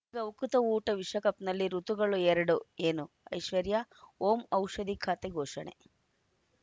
ಈಗ ಉಕುತ ಊಟ ವಿಶ್ವಕಪ್‌ನಲ್ಲಿ ಋತುಗಳು ಎರಡು ಏನು ಐಶ್ವರ್ಯಾ ಓಂ ಔಷಧಿ ಖಾತೆ ಘೋಷಣೆ